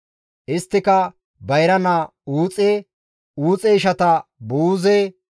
Isttika, bayra naa Uuxe, Uuxe ishata Buuze,